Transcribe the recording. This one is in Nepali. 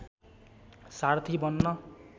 सारथी बन्न